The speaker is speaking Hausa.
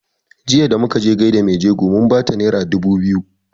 Jiya da muka je gaida mai jego mun bata naira dubu biyu